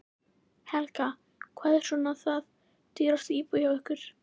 Helga: Hvað er svona það dýrasta í búðinni hjá ykkur?